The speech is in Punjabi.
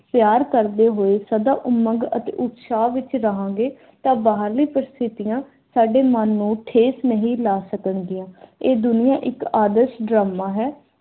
ਪਿਆਰ ਕਰਦੇ ਹੋਏ ਸਦਾ ਉਮੰਗ ਅਤੇ ਉਤਸ਼ਾਹ ਵਿਚ ਰਹਾਂਗੇ ਤਾਂ ਬਾਹਰਲੀ ਪ੍ਰਸਥਿਤੀਆਂ ਸਾਡੇ ਮਨ ਨੂੰ ਠੇਸ ਨਹੀਂ ਲਾ ਸਕਣਗੀਆਂ। ਇਹ ਦੁਨੀਆਂ ਇੱਕ ਆਦਰਸ਼ ਡਰਾਮਾ ਹੈ